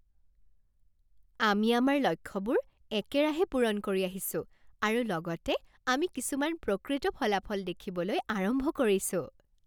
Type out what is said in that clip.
আমি আমাৰ লক্ষ্যবোৰ একেৰাহে পূৰণ কৰি আহিছো আৰু লগতে আমি কিছুমান প্ৰকৃত ফলাফল দেখিবলৈ আৰম্ভ কৰিছোঁ।